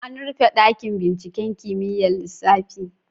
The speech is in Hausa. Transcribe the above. An rufe dakin binciken kimiyyar lissafi.